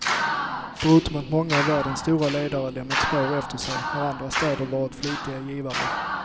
Förutom att många av världens stora ledare lämnat spår efter sig har andra städer varit flitiga givare.